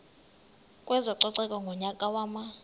kwezococeko ngonyaka wama